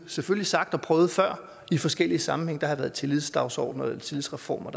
selvfølgelig sagt og prøvet før i forskellige sammenhænge der har været tillidsdagsordener tillidsreformer